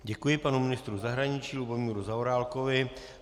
Děkuji panu ministru zahraničí Lubomíru Zaorálkovi.